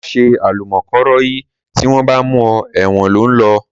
Mà sẹ àlúmòkọrọyí! Ti won bà mú ọ ẹwón lẹ lò